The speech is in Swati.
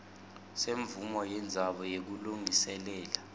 semvumo yendzawo yekulungiselela